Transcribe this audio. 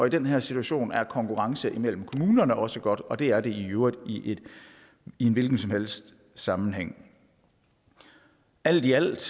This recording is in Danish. i den her situation er konkurrence imellem kommunerne også godt og det er det i øvrigt i en hvilken som helst sammenhæng alt i alt